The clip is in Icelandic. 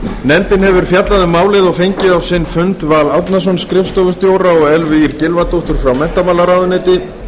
nefndin hefur fjallað um málið og fengið á sinn fund val árnason skrifstofustjóra og elvu ýr gylfadóttur frá menntamálaráðuneyti